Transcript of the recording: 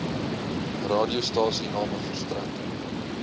radiostasies name verstrek